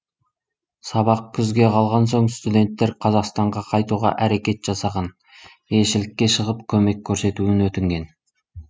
сабақ күзге қалған соң студенттер қазақстанға қайтуға әрекет жасаған елшілікке шығып көмек көрсетуін өтінген